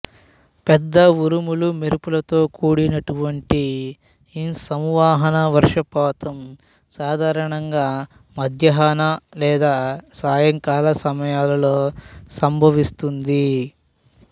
పెద్ద ఉరుములు మెరుపులతో కూడినటువంటి ఈ సంవహన వర్షపాతం సాధారణంగా మధ్యాహ్న లేదా సాయంకాల సమయాలలో సంభవిస్తుంది